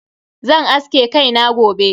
Zan aske kai na gobe.